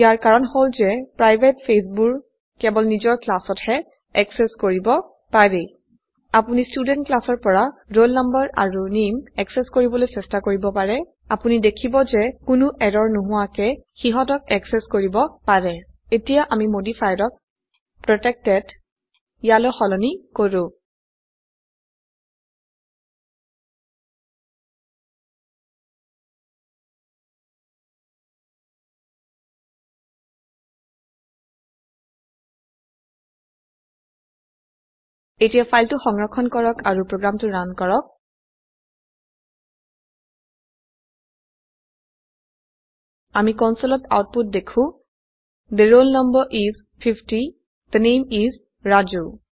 ইয়াৰ কাৰন হল যে প্ৰাইভেট ফেজবোৰ কেবল নিজৰ ক্লাছত হে এক্সেছ কৰিব পাৰি আপোনি স্টোডেন্ট ক্লাছৰ পৰা roll no আৰু নামে এক্সেছ কৰিবলৈ চেষ্টা কৰিব পাৰে আপোনি দেখিব যে কোনো এৰৰ নোহোয়াকে হিহতক এক্ছেছ কৰিব পাৰে এতিয়া আমি মডিফায়াৰক প্ৰটেকটেড ইয়ালৈ সলনি কৰো এতিয়া ফাইলতো সংৰক্ষণ কৰক আৰু প্ৰোগ্ৰামটো ৰান কৰক আমি কনসোলত আউটপুট দেখু the roll no is 50 the name is Raju